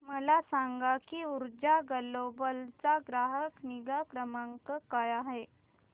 मला सांग की ऊर्जा ग्लोबल चा ग्राहक निगा क्रमांक काय आहे